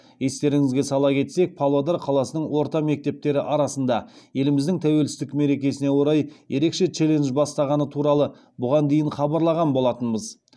естеріңізге сала кетсек павлодар қаласының орта мектептері арасында еліміздің тәуелсіздік мерекесіне орай ерекше челлендж бастағаны туралы бұған дейін хабарлаған болатынбыз